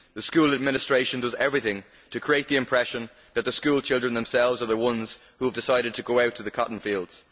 The school administration does everything to create the impression that the schoolchildren themselves are the ones who have decided to go out to the cotton fields.